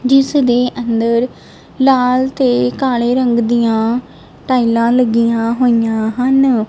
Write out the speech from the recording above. ਜਿਸ ਦੇ ਅੰਦਰ ਲਾਲ ਤੇ ਕਾਲੇ ਰੰਗ ਦੀਆਂ ਟਾਈਲਾਂ ਲੱਗੀਆਂ ਹੋਈਆਂ ਹਨ।